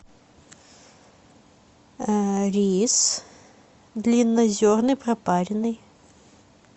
рис длиннозерный пропаренный